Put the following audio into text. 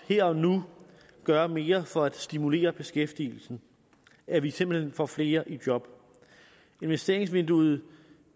her og nu gør mere for at stimulere beskæftigelsen at vi simpelt hen får flere i job investeringsvinduet